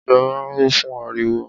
Ọjà máa ń ho fún ariwo.